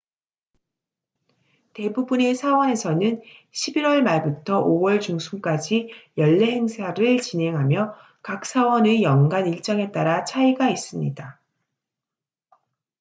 대부분의 사원에서는 11월 말부터 5월 중순까지 연례 행사를 진행하며 각 사원의 연간 일정에 따라 차이가 있습니다